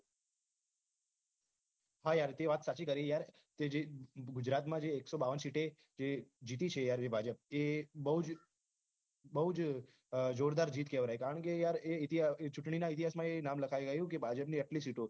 હા યાર તે વાત સાચી કરી યાર કે જે ગુજરાતમાં જે એક્સો બાવન સીટ જે જીતી છે યાર જે ભાજપ તે બહુજ બહુજ જોરદાર જીત કેવરાય કારણ કે યાર એ ચુટણી ના ઈતિહાસ મા એ નામ લખાઈ આયુ કે ભાજપ ની આટલી સીટો